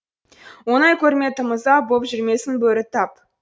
ойнай көрме тым ұзап боп жүрмесін бөрі тап